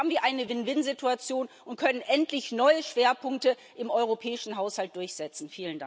Dann haben wir eine Win win Situation und können endlich neue Schwerpunkte im europäischen Haushalt durchsetzen.